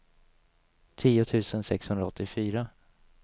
tio tusen sexhundraåttiofyra